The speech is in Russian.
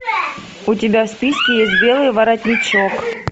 у тебя в списке есть белый воротничок